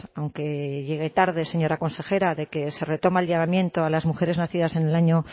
aunque llegue tarde señora consejera de que se retoma el llamamiento a las mujeres nacidas en el año